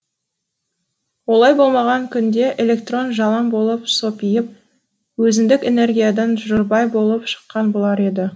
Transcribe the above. олай болмаған күнде электрон жалаң болып сопиып өзіндік энергиядан жұрдай болып шыққан болар еді